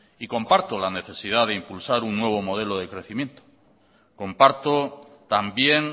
y comparto la necesidad de impulsar un nuevo modelo de crecimiento comparto también